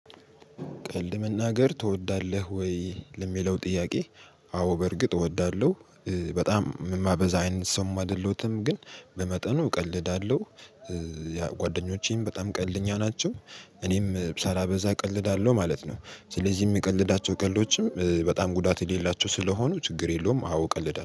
ቀልድ መናገር ትወዳለህ ወይ ለሚለው ጥያቄ? አዎ በእርግጥ እወዳለሁ። በጣም የማበዛ አይነት ሰውም አይደለሁም ግን በመጠኑ እቀልዳለሁ። ጓደኞቼም በጣም ቀልድ እኛ ናቸው እኔም ሳላበዛ እቀልዳለሁ ማለት ነው። ስለዚህ የምቀልዳቸው ቀልዶችም በጣም ጉዳት የሌላቸው ስለሆኑ ችግር የለውም። አውቀልህ ዳር